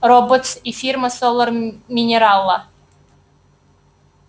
роботс и фирма солар минерала